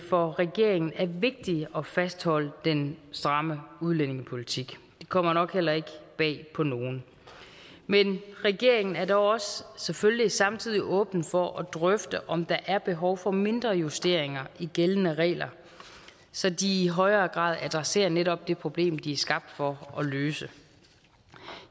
for regeringen er vigtigt at fastholde den stramme udlændingepolitik det kommer nok heller ikke bag på nogen men regeringen er dog også selvfølgelig samtidig åben for at drøfte om der er behov for mindre justeringer i gældende regler så de i højere grad adresserer netop det problem de er skabt for at løse